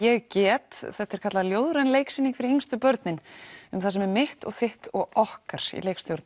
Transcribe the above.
ég get þetta er kallað ljóðræn leiksýning fyrir yngstu börnin um það sem er mitt þitt og okkar í leikstjórn